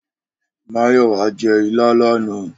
Mayowa jè ilá làná